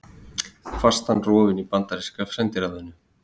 Fastan rofin í bandaríska sendiráðinu